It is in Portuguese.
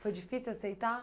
Foi difícil aceitar?